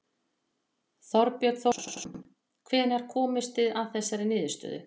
Þorbjörn Þórðarson: Hvenær komust þið að þessari niðurstöðu?